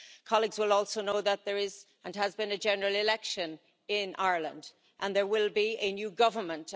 Colleagues will also know that there is and has been a general election in Ireland and there will be a new government.